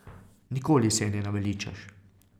Nikoli se je ne naveličaš.